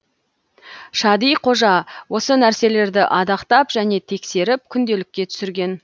шади қожа осы нәрселерді адақтап және тексеріп күнделікке түсірген